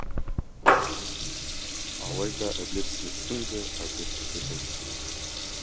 алайда әділетсіздіктің де әділетсіздігі бар